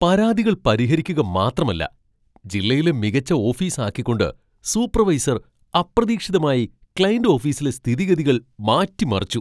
പരാതികൾ പരിഹരിക്കുക മാത്രമല്ല, ജില്ലയിലെ മികച്ച ഓഫീസ് ആക്കിക്കൊണ്ട് സൂപ്പർവൈസർ അപ്രതീക്ഷിതമായി ക്ലയന്റ് ഓഫീസിലെ സ്ഥിതിഗതികൾ മാറ്റിമറിച്ചു.